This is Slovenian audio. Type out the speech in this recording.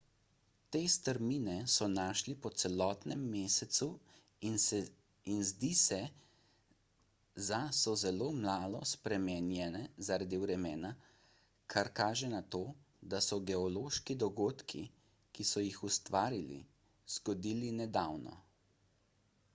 te strmine so našli po celotnem mesecu in zdi se za so zelo malo spremenjene zaradi vremena kar kaže na to da so se geološki dogodki ki so jih ustvarili zgodili nedavno